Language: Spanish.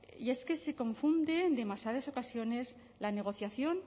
y es que se confunde demasiadas ocasiones la negociación